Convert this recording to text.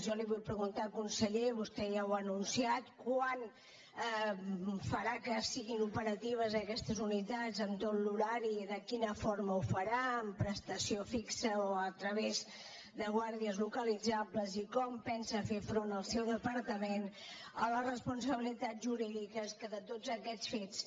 jo li vull preguntar conseller vostè ja ho ha anunciat quan farà que siguin operatives aquestes unitats amb tot l’horari i de quina forma ho farà amb prestació fi·xa o a través de guàrdies localitzables i com pensa fer front el seu departament a les responsabilitats jurídi·ques que de tots aquests fets